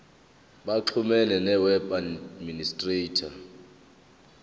baxhumane noweb administrator